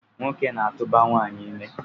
Nwoke na-atụba nwanyị ime